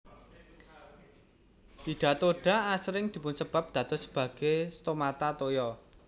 Hidatoda asring dipunsébat dados sebagai stomata toya